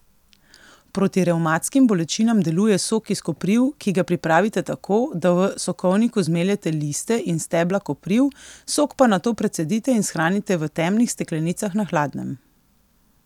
Proti revmatskim bolečinam deluje sok iz kopriv, ki ga pripravite tako, da v sokovniku zmeljete liste in stebla kopriv, sok pa nato precedite in shranite v temnih steklenicah na hladnem.